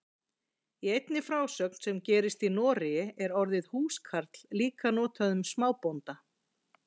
Í einni frásögn sem gerist í Noregi er orðið húskarl líka notað um smábónda.